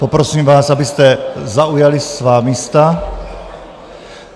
Poprosím vás, abyste zaujali svá místa.